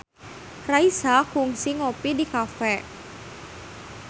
Raisa kungsi ngopi di cafe